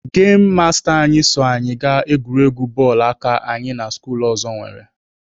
Gemụ masta anyị so anyị gaa egwuregwu bọọlụ aka anyị na skuulu ọzọ nwere.